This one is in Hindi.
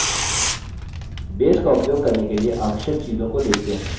base का उपयोग करने के लिए आवश्यक चीजों को देखते हैं